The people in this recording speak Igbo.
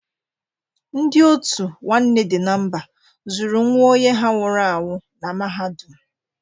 Ndị òtù Nwanne Dị na Mba zụrụ nwa onye ha nwụrụ anwụ na mahadum.